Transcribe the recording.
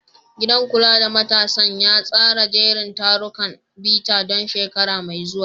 Gidan kula da matasan ya tsara jerin tarurrukan bita don shekara mai zuwa.